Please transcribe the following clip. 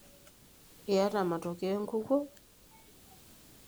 Iyata matokeo enkukuo?